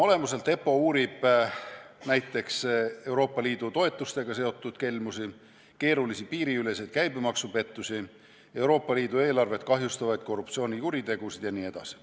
EPPO uurib näiteks Euroopa Liidu toetustega seotud kelmusi, keerulisi piiriüleseid käibemaksupettusi, Euroopa Liidu eelarvet kahjustavaid korruptsioonikuritegusid jne.